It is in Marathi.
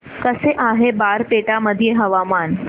कसे आहे बारपेटा मध्ये हवामान